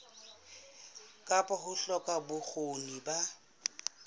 kapa ho hloka bokgoni ba